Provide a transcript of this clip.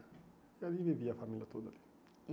E ali vivia a família toda.